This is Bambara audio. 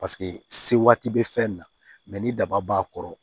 Paseke se waati bɛ fɛn na ni daba b'a kɔrɔ